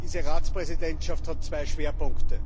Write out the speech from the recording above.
Diese Ratspräsidentschaft hat zwei Schwerpunkte.